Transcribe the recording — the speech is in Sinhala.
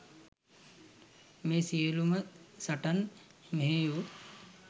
මේ සියලූ ම සටන් මෙහෙය වූ